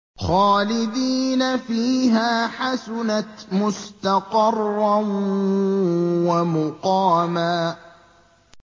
خَالِدِينَ فِيهَا ۚ حَسُنَتْ مُسْتَقَرًّا وَمُقَامًا